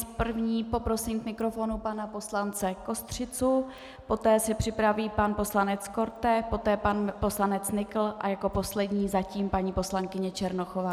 S první poprosím k mikrofonu pana poslance Kostřicu, poté se připraví pan poslanec Korte, poté pan poslanec Nykl a jako poslední zatím paní poslankyně Černochová.